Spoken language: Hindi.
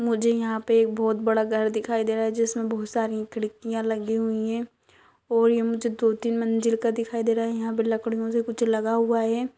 मुझे यहाँ पे एक बहोत बड़ा घर दिखाई दे रहा हैं। जिसमे बहोत सारी खिड़कियां लगी हुई हैं और ये मुझे दो-तीन मंजिल का दिखाई दे रहा हैं। यहाँ पे लकड़ियों से कुछ लगा हुआ हैं।